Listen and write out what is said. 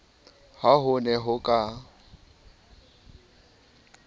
ha ho ne ho ka